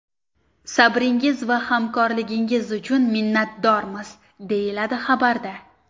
Sabringiz va hamkorligingiz uchun minnatdormiz!” deyiladi xabarda.